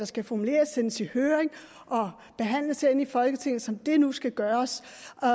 skal formuleres sendes i høring og behandles herinde i folketinget som det nu skal gøres